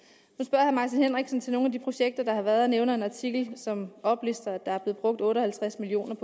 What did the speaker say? herre martin henriksen til nogle af de projekter der har været og nævner en artikel som oplister at der er blevet brugt otte og halvtreds million